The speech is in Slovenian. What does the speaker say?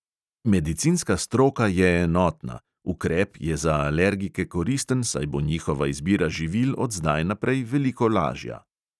Medicinska stroka je enotna – ukrep je za alergike koristen, saj bo njihova izbira živil od zdaj naprej veliko lažja.